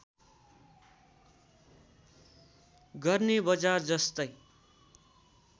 गर्ने बजार जस्तै